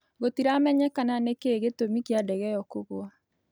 Gũtĩramenyekana nĩkĩĩ gĩtũmĩ kĩa ndege ĩyo kũgwa